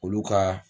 Olu ka